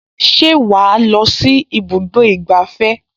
Ṣé wàá lọ sí ibùdó ìgbafẹ́?